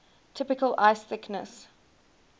typical ice thickness